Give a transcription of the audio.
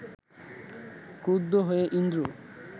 ক্রুদ্ধ হয়ে ইন্দ্র